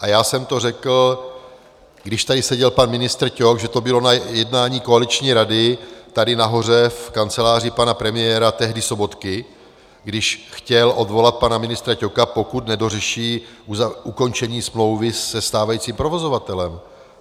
A já jsem to řekl, když tady seděl pan ministr Ťok, že to bylo na jednání koaliční rady tady nahoře v kanceláři pana premiéra, tehdy Sobotky, když chtěl odvolat pana ministra Ťoka, pokud nedořeší ukončení smlouvy se stávajícím provozovatelem.